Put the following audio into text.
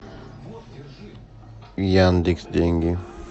яндекс деньги